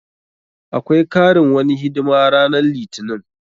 Akwai karin wani hidima ranan litinin.